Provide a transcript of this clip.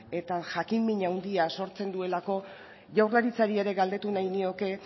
eta jakinmin handia sortzen duelako jaurlaritzari ere galdetu nahi nioke